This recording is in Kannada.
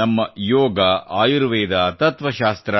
ನಮ್ಮ ಯೋಗ ಆಯುರ್ವೇದ ತತ್ತ್ವಶಾಸ್ತ್ರ